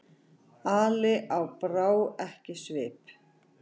Ali og brá ekki svip.